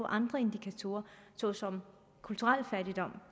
andre indikatorer såsom kulturel fattigdom